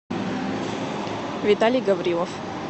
виталий гаврилов